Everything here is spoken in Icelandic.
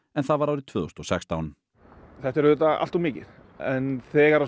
en það var árið tvö þúsund og sextán þetta er auðvitað alltof mikið en þegar